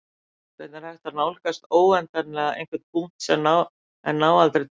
hvernig er hægt að nálgast óendanlega einhvern punkt en ná aldrei til hans